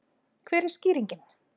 Hver er skýringin?